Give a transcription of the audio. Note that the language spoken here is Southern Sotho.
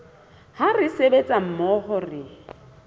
ha re sebetsa mmoho re